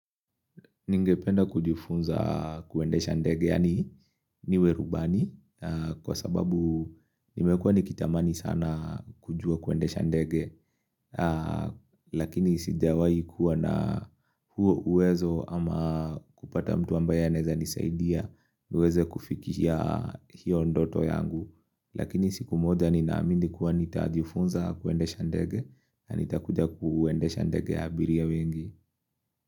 Ningependa kujifunza kwendesha ndege, yani niwe rubani, kwa sababu nimekuwa nikitamani sana kujua kwendesha ndege, lakini sijawai kuwa na huo uwezo ama kupata mtu ambaye anaeza nisaidia, niweze kufikia hiyo ndoto yangu, lakini siku moja nina amini kuwa nitajifunza kwendesha ndege, nitakuja kwendesha ndege ya abiria wengi.